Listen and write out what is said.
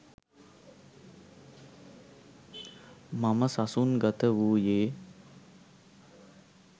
මම සසුන් ගත වූයේ